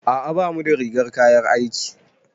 A'a bamu da rigar kayan aiki.